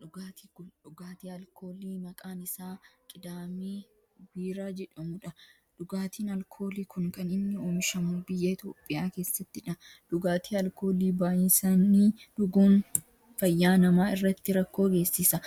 Dhugaatii kun dhugaatii alkoolii maqaan isaa qidaamee biiraa jedhamudha. Dhugaatiin alkoolii kun kan inni oomishamu biyya Itiyoophiyaa keesattidha. Dhugaatii alkoolii baayisanii dhuguun fayyaa nama irratti rakkoo geessisa.